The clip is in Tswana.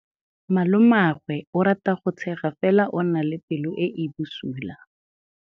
Malomagwe o rata go tshega fela o na le pelo e e bosula.